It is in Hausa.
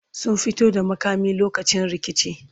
sun fito da makami lokacin rikici